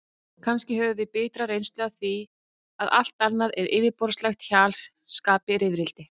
Kannski höfum við bitra reynslu af því að allt annað en yfirborðslegt hjal skapi rifrildi.